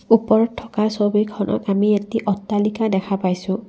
ওপৰত থকা ছবিখনত আমি এটি অট্টালিকা দেখা পাইছোঁ।